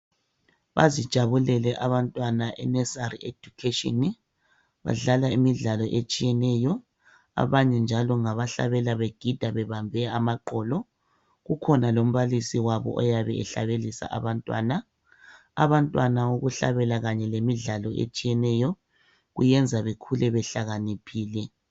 Bazijabulele abantwana enursery education. Badlala imidlalo etshiyeneyo. Abanye njalo ngabahlabela begida bebambe amaqolo. Kukhona lombalisi wabo oyabe ehlabelisa abantwana. Abantwana ukuhlabela kanye lemidlalo etshiyeneyo kuyenza bekhule behlakaniphile.